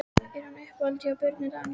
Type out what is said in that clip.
Er hann í uppáhaldi hjá Birni Daníel?